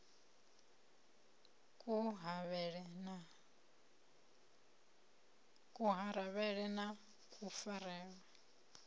a ku havhele na kufarelwe